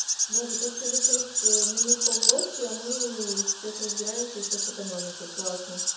боже тут через шесть ээ минут повозки а мы сейчас разбираюсь ещё с экономикой классно